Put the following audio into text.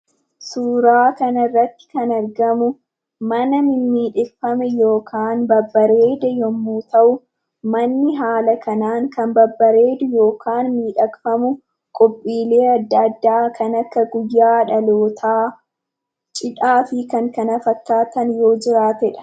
Suuraa kana irratti kan argamu, mana mimidhakfamee yookaan babareedee yommuu ta'u, manni haala kanan kan babareeduu yookaan midhekfamuu qophilleee adda addaa kan akka guyyaa dhalloota, cidhaafi kan kana fakkataan yoo jirateedha.